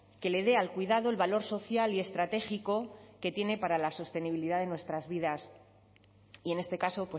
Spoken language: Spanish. que le dé al cuidado el valor social y estratégico que tiene para la sostenibilidad de nuestras vidas y en este caso